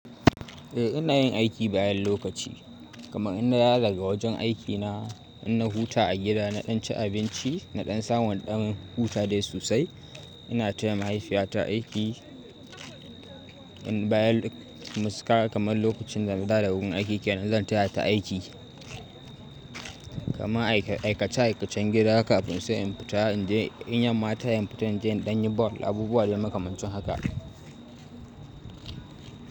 Eh ina yin aiki bayan lokaci kuma ina nadawo daga wajen aikina. Ina huta a gida naɗan ci abinci naɗan samu na ɗan huta dai sosai. Ina taya mahaifiyata aiki bayan musu kara kamar lokacin da na da da wurin aiki ke. Ina zan taya ta aiki kuma aikace aikacen gida kafin sai in fita in je in yamma tayi in fita in je in ɗan yi bawul abubuwa da ya makamancin haka.